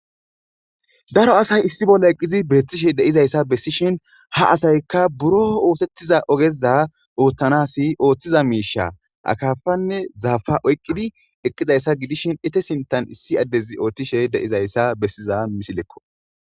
daro asay issi bolla eqqizi beettishe deizayssa bessishin ha asaykka buro oosettiza ogeza ooththanasi ooththiza miisha akafanne zaafa oyqqidi eqqizayssa gidishin ete sintan issi addezi ooththishe deizayssa bessiza misilekko